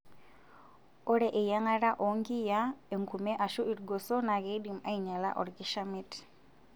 Ore eyiang'ata oonkiyiaa, enkume aashu ilgoso naa keidim ainyala olkishamiet.